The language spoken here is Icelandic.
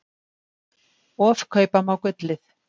Ofkaupa má gullið.